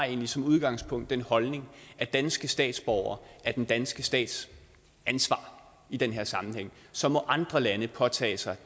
egentlig som udgangspunkt den holdning at danske statsborgere er den danske stats ansvar i den her sammenhæng så må andre lande påtage sig